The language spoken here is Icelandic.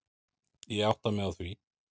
Ég átta mig á því.